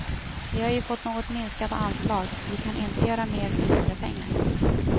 Vi har ju fått något minskade anslag, vi kan inte göra mer för mindre pengar.